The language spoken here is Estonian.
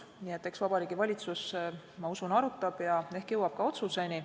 Eks Vabariigi Valitsus arutab seda ja ehk jõuab ka otsusele.